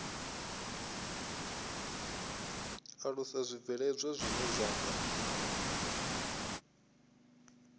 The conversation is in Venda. alusa zwibveledzwa zwine zwa nga